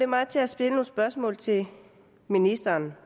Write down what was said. mig til at stille nogle spørgsmål til ministeren